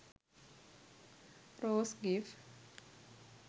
rose gif